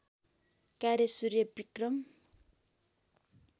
कार्य सूर्यविक्रम